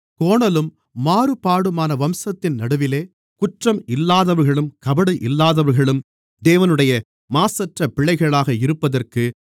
கோணலும் மாறுபாடுமான வம்சத்தின் நடுவிலே குற்றம் இல்லாதவர்களும் கபடு இல்லாதவர்களும் தேவனுடைய மாசற்ற பிள்ளைகளாக இருப்பதற்கு